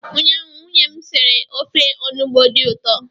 ụnyaahụ, nwunye m sitere ofe onugbu dị ụtọ